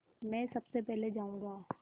मैं सबसे पहले जाऊँगा